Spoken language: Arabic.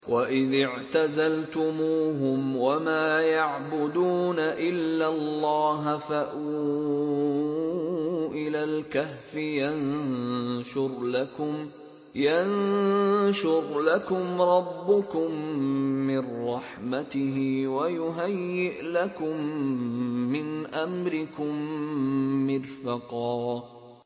وَإِذِ اعْتَزَلْتُمُوهُمْ وَمَا يَعْبُدُونَ إِلَّا اللَّهَ فَأْوُوا إِلَى الْكَهْفِ يَنشُرْ لَكُمْ رَبُّكُم مِّن رَّحْمَتِهِ وَيُهَيِّئْ لَكُم مِّنْ أَمْرِكُم مِّرْفَقًا